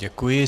Děkuji.